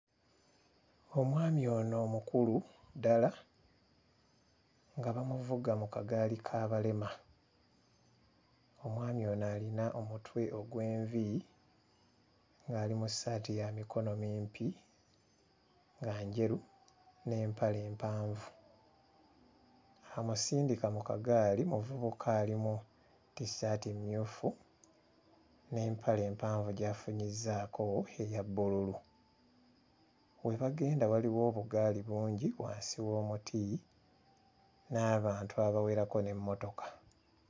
Omwami ono mukulu ddala nga bamuvuga mu kagaali k'abalema. Omwami ono alina omutwe ogw'envi ng'ali mu ssaati ya mikono mimpi nga njeru n'empale empanvu. Amusindika mu kagaali muvubuka ali mu tissaati mmyufu n'empale mpanvu gy'afunyizzaako eya bbululu. We bagenda waliwo obugaali bungi wansi w'omuti, n'abantu abawerako n'emmotoka.